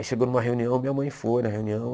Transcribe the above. Aí chegou numa reunião, minha mãe foi na reunião.